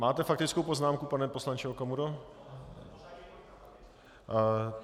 Máte faktickou poznámku, pane poslanče Okamuro?